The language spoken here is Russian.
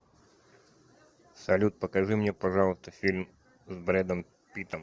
салют покажи мне пожалуйста фильм с бредом питтом